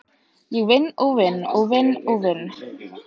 Ég vinn og vinn og vinn og vinn.